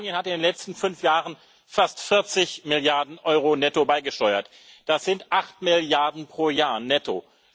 Großbritannien hat in den letzten fünf Jahren fast 40 Milliarden Euro netto beigesteuert, das sind acht Milliarden pro Jahr netto.